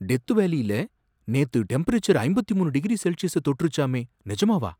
death வேலியில நேத்து temperature ஐம்பத்து மூணு டிகிரி செல்சியஸ தொட்டுருச்சாமே, நிஜமாவா